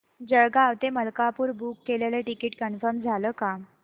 जळगाव ते मलकापुर बुक केलेलं ticket confirm झालं का